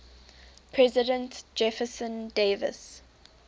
president jefferson davis